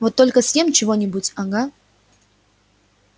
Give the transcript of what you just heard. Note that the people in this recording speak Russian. вот только съем чего-нибудь ага